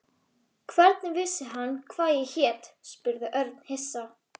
Hvernig vissi hann hvað ég hét? spurði Örn hissa.